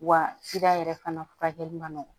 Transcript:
Wa yɛrɛ fana furakɛli man nɔgɔ